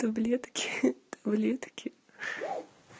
таблетки таблетки